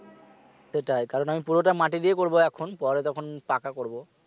সেটাই কারণ আমি পুরোটা মাটি দিয়ে করবো এখন পরে তখন পাকা করবো